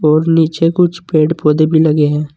और नीचे कुछ पेड़ पौधे भी लगे हैं।